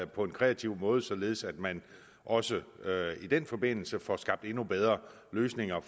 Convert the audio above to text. på en kreativ måde således at man også i den forbindelse får skabt endnu bedre løsninger